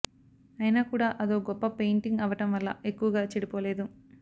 అయినా కూడా అదో గొప్ప పెయింటింగ్ అవ్వడం వల్ల ఎక్కువగా చెడిపోలేదు